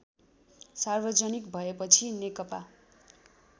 सार्वजनिक भएपछि नेकपा